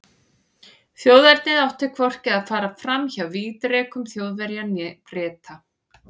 Þjóðernið átti hvorki að fara fram hjá vígdrekum Þjóðverja né Breta.